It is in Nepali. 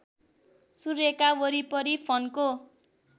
सूर्यका वरिपरि फन्को